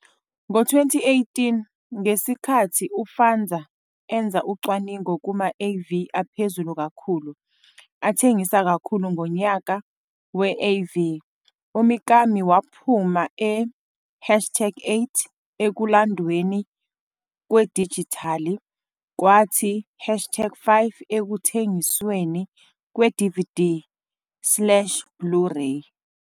Ngo-2018, ngesikhathi uFanza enza ucwaningo kuma-AV aphezulu kakhulu athengisa kakhulu ngonyaka we-AV, uMikami waphuma e-hashtag 8 ekulandweni kwedijithali, kwathi hashtag 5 ekuthengisweni kwe-DVD slash Blu-Ray.